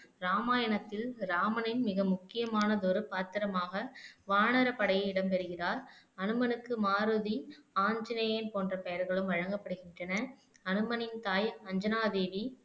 ராமாயணத்தில் ராமனின் மிக முக்கியமானதொரு பாத்திரமாக வானர படையில் இடம் பெறுகிறார் அனுமனுக்கு மாருதி ஆஞ்சநேயன் போன்ற பெயர்களும் வழங்கப்படுகின்றன அனுமனின் தாய் அஞ்சனா தேவி